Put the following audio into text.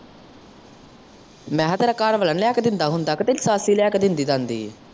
ਮੈਂ ਕਿਹਾ ਤੇਰਾ ਘਰਵਾਲਾ ਨੀ ਲਿਆ ਕੇ ਦਿੰਦਾ ਹੁੰਦਾ ਕੇ ਤੇਰੀ ਸੱਸ ਹੀ ਲਿਆਕੇ ਦੇਂਦੀ ਦਾਦੀਂ?